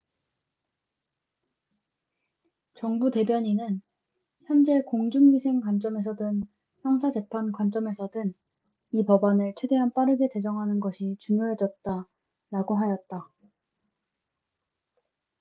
"정부 대변인은 "현재 공중위생 관점에서든 형사 재판 관점에서든 이 법안을 최대한 빠르게 제정하는 것이 중요해졌다""라고 하였다.